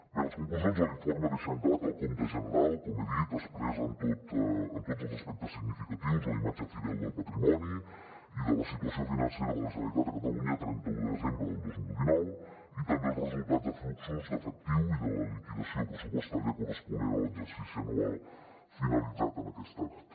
bé les conclusions de l’informe deixen clar que el compte general com he dit expressa en tots els aspectes significatius la imatge fidel del patrimoni i de la situació financera de la generalitat de catalunya a trenta un de desembre del dos mil dinou i també els resultats de fluxos d’efectiu i de la liquidació pressupostària corresponent a l’exercici anual finalitzat en aquesta data